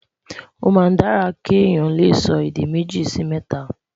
o má n dára ké Yàn lẹsọ èdè méjì Si mẹta